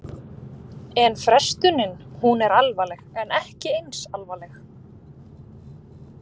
En frestunin, hún er alvarleg en ekki eins alvarleg?